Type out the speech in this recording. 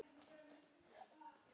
Við dofnum upp.